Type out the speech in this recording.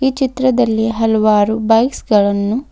ಈ ಚಿತ್ರದಲ್ಲಿ ಹಲವಾರು ಬೈಕ್ಸ್ ಗಳನ್ನು--